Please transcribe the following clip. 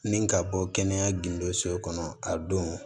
Ni ka bɔ kɛnɛya gindo so kɔnɔ a don